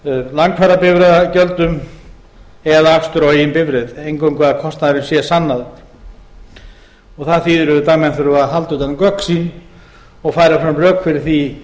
flugferðum ferjufargjöldum langferðabifreiðagjöldum eða aksturs á eigin bifreið eingöngu að kostnaðurinn sé sannaður það þýðir auðvitað að menn þurfa að halda utan um gögn sín og færa fram rök fyrir því